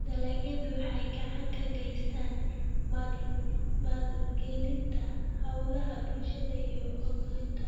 Dalagyadu waxay gacan ka geystaan ??maalgelinta hawlaha bulshada iyo horumarinta.